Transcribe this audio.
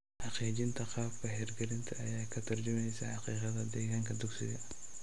Xaqiijinta qaabka hirgelinta ayaa ka tarjumaysa xaqiiqada deegaanka dugsiga.